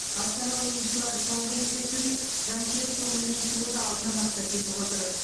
астана ойыншылары соңғы кездесуде жанкүйер көңілінен шығуды алдына мақсат етіп отыр